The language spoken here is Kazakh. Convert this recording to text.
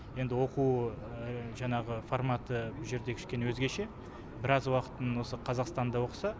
енді оқу жаңағы форматы бұл жерде кішкене өзгеше біраз уақытын осы қазақстанда оқыса